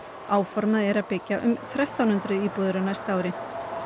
áformað er að byggja um þrettán hundruð íbúðir á næsta ári